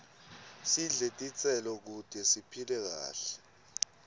sidle titselo kute siphile kahle